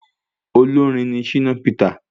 Olórin ní Shina Peter